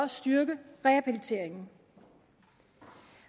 styrke rehabiliteringen